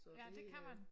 Ja det kan man